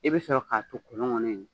I bɛ sɔrɔ k'a to kolon kɔnɔ in.